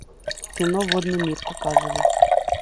кино водный мир показывай